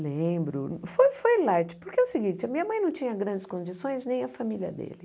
Lembro, foi foi light, porque é o seguinte, a minha mãe não tinha grandes condições, nem a família dele.